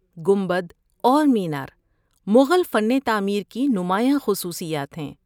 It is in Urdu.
گنبد اور مینار مغل فن تعمیر کی نمایاں خصوصیات ہیں۔